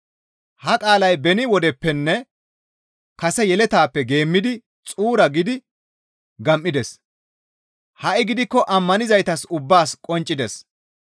Ha qaalay beni wodeppenne kase yeletaappe geemmidi xuura gidi gam7ides; ha7i gidikko ammanizaytas ubbaas qonccides.